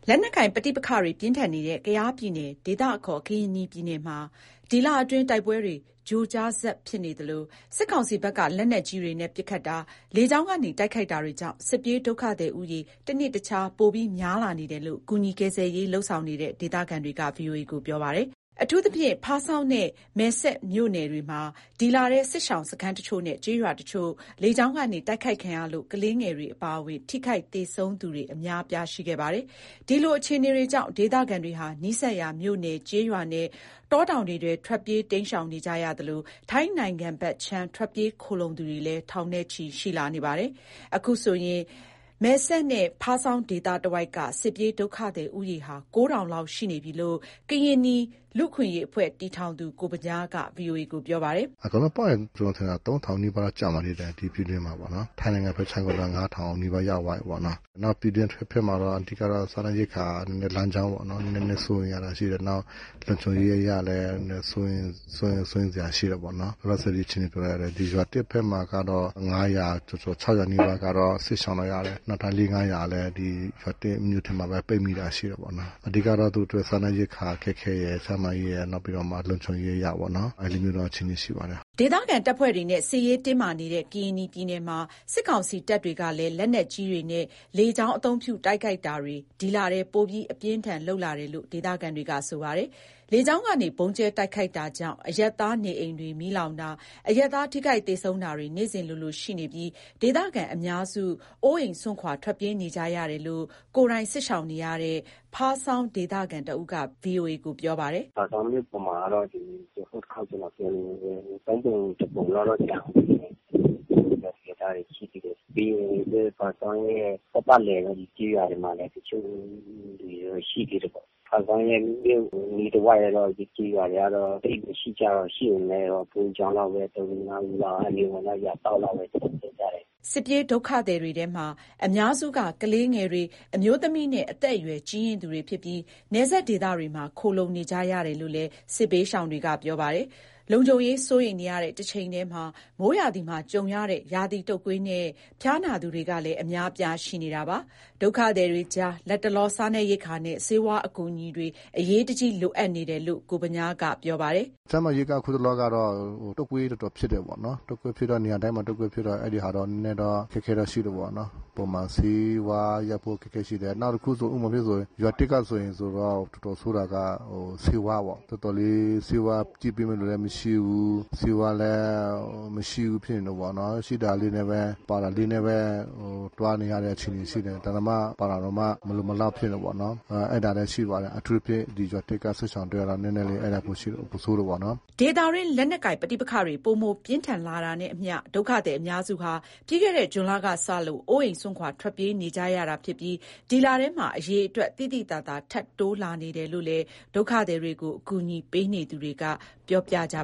လက်နက်ကိုင် ပဋိပက္ခတွေ ပြင်းထန်နေတဲ့ ကယားပြည်နယ် ဒေသအခေါ် ကရင်နီပြည်မှာ ဒီလအတွင်း တိုက်ပွဲတွေ ကြိုကြားဆက်ဖြစ်နေသလို၊ စစ်ကောင်ဘက်က လက်နက်ကြီးတွေနဲ့ ပစ်ခတ်တာ၊ လေကြောင်းကနေ တိုက်ခိုက်တာတွေကြောင့် စစ်ပြေးဒုက္ခသည်ဦးရေ တနေ့တခြား ပိုများလာနေတယ်လို့ ကူညီကယ်ဆယ်ရေး လုပ်ဆောင်နေတဲ့ ဒေသခံတွေက ပြောပါတယ်။ အထူးသဖြင့် ဖားဆောင်း နဲ့ မယ်စဲ့မြို့နယ်တွေမှာ ဒီလထဲ စစ်ရှောင်စခန်းတချို့နဲ့ ကျေးရွာတချို့ လေကြောင်းကနေ တိုက်ခိုက်ခံရလို့ ကလေးငယ်တွေ အပါအဝင် ထိခိုက်သေဆုံးသူတွေ အများအပြား ရှိခဲ့ပါတယ်။ ဒီလို အခြေအနေတွေကြောင့် ဒေသခံတွေဟာ နီးစပ်ရာ မြို့နယ်၊ ကျေးရွာနဲ့ တောတောင်တွေထဲ ထွက်ပြေး တိမ်းရှောင်ကြရသလို၊ ထိုင်းနိုင်ငံဘက်ခြမ်း ထွက်ပြေး ခိုလုံသူတွေလည်း ထောင်နဲ့ချီ ရှိပါတယ်။ အခုဆိုရင် မယ်စဲ့နဲ့ ဖားဆောင်း ဒေသတဝိုက်က စစ်ပြေးဒုက္ခသည် ဦးရေဟာ ၉,၀၀၀ လောက် ရှိနေပြီလို့ ကရင်နီ လူ့အခွင့်အရေးအဖွဲ့ တည်ထောင်သူ ကိုဗညားက ပြောပါတယ်။ “အကုန်လုံးပေါင်းရင် ကျနော် ထင်တာ ၃,၀၀၀ လောက် ကျော်မယ် ဒီပြည်တွင်းမှာ။ ထိုင်းနိုင်ငံ ဘက်ခြမ်းကိုလည်း ၅,၀၀၀ နီးပါး ရောက်သွားပြီးပေါ့နော်။ နောက်ပြည်တွင်း အထွက်ဘက်မှာတော့ အဓိကတော့ စားနပ်ရိက္ခာ လမ်းကြောင်းပေါ့နော်။ နည်းနည်း စိုးရိမ်ရတာ ရှိတယ်။ နောက် လုံခြုံရေးအရလည်း စိုးရိမ်စရာရှိတယ်ပေ့ါနော်။ လောလောဆယ် ဒီရွာသစ် ဘက်မှာကတော့ ၅၀၀ ကျော်ကျော်၊ ၆၀၀ နီးပါး စစ်ရှောင်လိုက်ရတယ်။ နောက်ထပ် ၄၀၀ ၊ ၅၀၀ လည်း ဒီရွာသစ်မြို့ထဲမှာပဲ ပိတ်တာရှိတာပေ့ါနော်။ အဓိကတော့ သူ့အတွက် စားနပ်ရိက္ခာ အခက်အခဲရယ်။ ကျန်းမာရေးရယ် နောက်ပြီးတော့မှ လုံခြုံရေးအရပေါ့နော်။ အဲ့လိုမျိုးတော့ အခြေအနေ ရှိပါတယ်။” ဒေသခံတပ်ဖွဲ့တွေနဲ့ စစ်ရေးတင်းမာနေတဲ့ ကရင်နီပြည်နယ်မှာ စစ်ကောင်စီ တပ်ဖွဲ့တွေကလည်း လက်နက်ကြီးတွေနဲ့ လေကြောင်း အသုံးပြု တိုက်ခိုက်တာတွေ ဒီလထဲ ပိုပြီး အပြင်းအထန် လုပ်လာတယ်လို့လည်း ဒေသခံတွေက ပြောပါတယ်။ လေကြောင်းကနေ ဗုံးကြဲတိုက်ခိုက် တာကြောင့် အရပ်သားနေအိမ်တွေ မီးလောင်တာ၊ အရပ်သား ထိခိုက်သေဆုံးတာတွေ နေ့စဥ်လိုလို ရှိနေပြီး ဒေသခံအများစု အိုးအိမ်စွန့်ခွာ ထွက်ပြေးနေကြရတယ်လို့ ကိုယ်တိုင် စစ်ရှောင်နေရတဲ့ ဖားဆောင်းဒေသခံတဦးက ဗွီအိုအေကို ပြောပါတယ်။ “ဖားဆောင်းမြို့ပေါ်မှာကတော့ ဟိုတစ်ခေါက် ကျနော် ပြောသလိုပဲ သုံးပုံ တပုံလောက်တော့ ကျန်အုံးမယ်။ ရွာသူရွာသားတွေ ရှိသေးတယ်။ ပြီးရင် ဖားဆောင်းရဲ့ ပတ်ပတ်လည် ကျေးရွာတွေမှာလည်း တချို့လူတွေ ရှိသေးတယ်ပေါ့။ ဖားဆောင်းရဲ့ အနီးတဝိုက်ကတော့ ကျေးရွာတွေကတော့ သိပ်မရှိကြတော့ဘူး။ ရှိပေမဲ့ ဘုန်းကြီးကျောင်းလောက်ပဲ။ ၃၊ ၄၊ ၅ယောက် အဲ့လိုမျိုးပေါ့နော်။ ရွာစောင့်လောက်ပဲ ကျန်ခဲ့ကြတယ်။” စစ်ပြေးဒုက္ခသည်တွေထဲမှာ အများစုက ကလေးငယ်တွေ၊ အမျိုးသမီးနဲ့ အသက်အရွယ်ကြီးရင့်သူတွေ ဖြစ်ပြီး နယ်စပ်ဒေသတွေမှာ ခိုလုံနေကြရတယ်လို့လည်း စစ်ဘေးရှောင်တွေက ပြောပါတယ်။ လုံခြုံရေး စိုးရိမ်နေရတဲ့ တချိန်တည်းမှာ မိုးရာသီမှာကြုံရတဲ့ ရာသီတုပ်ကွေးနဲ့ ဖျားနာသူတွေကလည်း အများအပြား ရှိနေပါတယ်။ ဒုက္ခသည်တွေကြား လတ်တလော စားနပ်ရိက္ခာနဲ့ ဆေးဝါး အကူအညီတွေ အရေးတကြီး လိုအပ်နေတယ်လို့ ကိုဗညားက ပြောပါတယ်။ “ကျန်းမာရေးက ခုတလောကတော့ တုပ်ကွေးတော်တော်ဖြစ်တယ်ပေါ့နော်။ တုပ်ကွေးဖြစ်တော့ နေရာတိုင်းမှာ တုပ်ကွေးဖြစ်တယ်။ အဲ့ဒီဟာ နည်းနည်းတော့ အခက်အခဲတော့ ရှိတာပေါ့နော်။ ပုံမှန်ဆေးဝါးရဖို့ အခက်အခဲ ရှိတယ်။ နောက်တခု ဥပမာအဖြစ်ဆိုရင် ရွာသစ်ကဆိုရင် တော်တော်ဆိုးတာက ဆေးဝါးပေ့ါ။ တော်တော်လေး ဆေးဝါး ကြည့်ပေးမယ့်လူလည်း မရှိဘူး။ ဆေးဝါးလည်း မရှိဘူး ဖြစ်နေတယ်ပေါ့နော်။ ရှိတာလေးနဲ့ပဲ ပါရာ လေးနဲ့ပဲ သွားနေရတဲ့ အခြေအနေရှိတယ်။ ပါရာ တောင်မှ မလုံမလောက် ဖြစ်နေတယ်ပေါ့နော်။ အဲ့ဒါလည်းရှိပါတယ်။ အထူးသဖြင့် ဒီရွာသစ်က စစ်ရှောင်တွေက နည်းနည်းလေး ပိုဆိုးတယ်ပေါ့နော်။” ဒေသတွင်း လက်နက်ကိုင် ပဋိပက္ခတွေ ပိုမို ပြင်းထန်လာတာနဲ့အမျှ ဒုက္ခသည် အများစုဟာ ပြီးခဲ့တဲ့ ဇွန်လ ကစလို့ အိုးအိမ် စွန့်ခွာ ထွက်ပြေးနေကြ ရတာဖြစ်ပြီး ဒီလထဲမှာ အရေအတွက် သိသိသာသာ ထပ်တိုးလာနေတာလို့လည်း ဒုက္ခသည်တွေကို အကူအညီပေးနေသူတွေက ပြောပြကြ